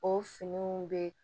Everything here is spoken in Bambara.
O finiw bɛ